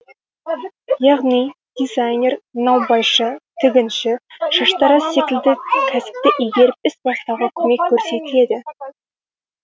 яғни дизайнер наубайшы тігінші шаштараз секілді кәсіпті игеріп іс бастауға көмек көрсетіледі